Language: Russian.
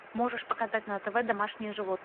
можешь показать на тв домашние